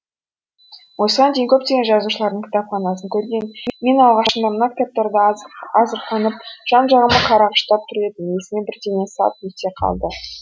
осыған дейін көптеген жазушылардың кітапханасын көрген мен алғашында мына кітаптарды азырқанып жан жағыма қарағыштап тұр едім есіме бірдеңе сап ете қалды